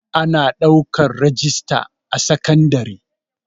Ana ɗaukan rajista a sekandare